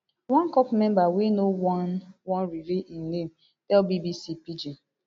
one corps member wey no wan wan reveal im name tell bbc pidgin